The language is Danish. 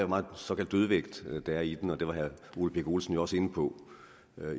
meget såkaldt dødvægt der er i den og det var herre ole birk olesen jo også inde på